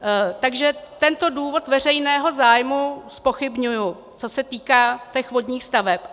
Takže tento důvod veřejného zájmu zpochybňuji, co se týká těch vodních staveb.